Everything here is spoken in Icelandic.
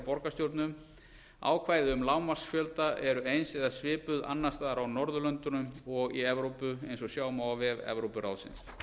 borgarstjórnum ákvæði um lágmarksfjölda eru eins eða svipuð annars staðar á norðurlöndum og í evrópu sjá vef evrópuráðsins